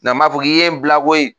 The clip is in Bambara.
N m'a fɔ k'i ye n bila koyi